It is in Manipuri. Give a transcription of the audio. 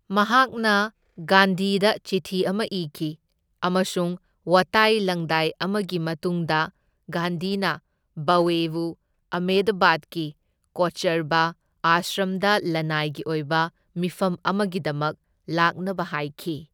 ꯃꯍꯥꯛꯅ ꯒꯥꯟꯙꯤꯗ ꯆꯤꯊꯤ ꯑꯃ ꯏꯈꯤ ꯑꯃꯁꯨꯡ ꯋꯥꯇꯥꯏ ꯂꯪꯗꯥꯏ ꯑꯃꯒꯤ ꯃꯇꯨꯡꯗ ꯒꯥꯟꯙꯤꯅ ꯚꯋꯦꯕꯨ ꯑꯍꯃꯦꯗꯕꯥꯗꯀꯤ ꯀꯣꯆꯔꯕ ꯑꯥꯁ꯭ꯔꯝꯗ ꯂꯅꯥꯏꯒꯤ ꯑꯣꯏꯕ ꯃꯤꯐꯝ ꯑꯃꯒꯤꯗꯃꯛ ꯂꯥꯛꯅꯕ ꯍꯥꯏꯈꯤ꯫